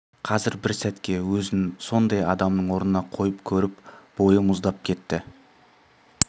қазір бір сәтке өзін сондай адамның орнына қойып көріп бойы мұздап кетті